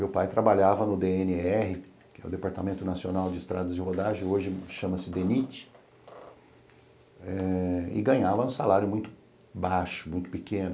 Meu pai trabalhava no dê ene erre, que é o Departamento Nacional de Estradas e Rodagem, hoje chama-se dê ni ti, eh e ganhava um salário muito baixo, muito pequeno.